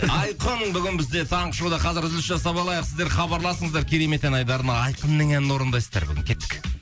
айқын бүгін бізде таңғы шоуда қазір үзіліс жасап алайық сіздер хабарласыңыздар керемет ән айдарына айқынның әнін орындайсыздар бүгін кеттік